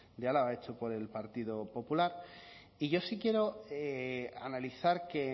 de álava hecho por el partido popular y yo sí quiero analizar que